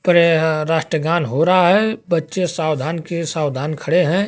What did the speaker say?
और यहां राष्ट्रगान हो रहा है बच्चे सावधान के सावधान खड़े हैं।